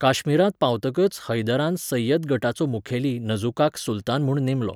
काश्मीरांत पावतकच हैदरान सैयद गटाचो मुखेली नझुकाक सुलतान म्हूण नेमलो.